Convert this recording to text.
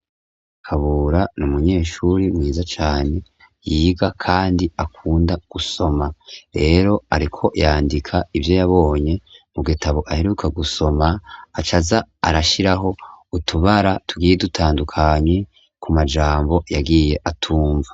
Kabura n'umunyeshuri mwiza cane yiga kandi akunda gusoma rero ariko yandika ivyo yabonye mu gitabo aheruka gusoma acaza arashiraho utubara tugiye dutandukanye ku majambo yagiye atumva.